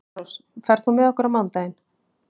Svanrós, ferð þú með okkur á mánudaginn?